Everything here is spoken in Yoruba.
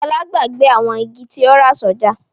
Fọlá gbàgbé àwọn igi tí ó rà sọ́jà.